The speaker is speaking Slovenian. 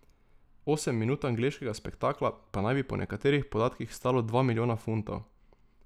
Osem minut angleškega spektakla pa naj bi po nekaterih podatkih stalo dva milijona funtov.